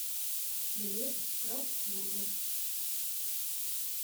билет крафт бургер